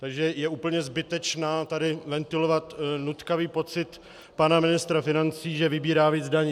Takže je úplně zbytečné tady ventilovat nutkavý pocit pana ministra financí, že vybírá víc daní.